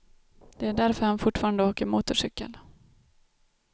Det är därför han fortfarande åker motorcykel.